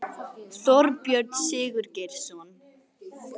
Þorbjörn Sigurgeirsson